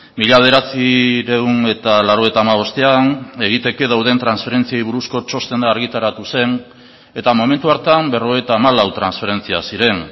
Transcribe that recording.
mila bederatziehun eta laurogeita hamabostean egiteke dauden transferentziei buruzko txostena argitaratu zen eta momentu hartan berrogeita hamalau transferentzia ziren